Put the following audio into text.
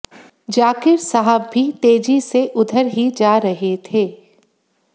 जाकिर साहब भी तेजी से उधर ही जा रहे थे